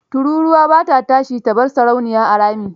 Tururwa ba ta tashi ta bar sarauniya a rami.